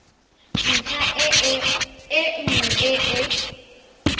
ntlha e nngwe e e